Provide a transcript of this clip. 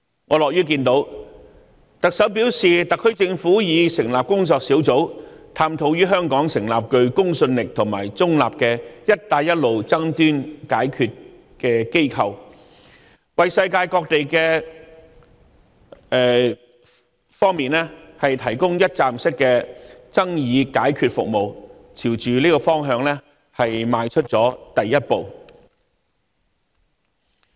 我樂見特首表示特區政府已成立工作小組，探討於香港成立具公信力和中立的"一帶一路"爭端解決機構，為世界各地提供一站式的爭議解決服務，朝着這個方向邁出了第一步。